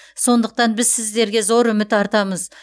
сондықтан біз сіздерге зор үміт артамыз